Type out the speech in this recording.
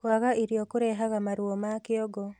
Kwaga irio kũrehaga maruo ma kĩongo